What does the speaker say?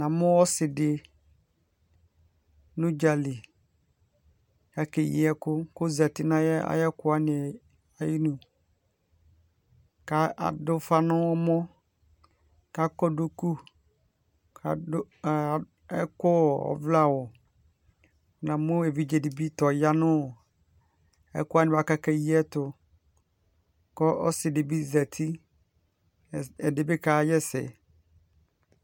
Na mu ɔse de no udzali ko ɔke yi ɛku ko zati no ayeku wane aye du, ko ado ufa no ɔmɔ ko akɔ duku, koado aa, akɔ ɔvlɛ awu Na mu evidze de ta ɔya no ɛku wane boako ake yiɛ to, ko ɔse de be zati, ɛde be ka ha asɛ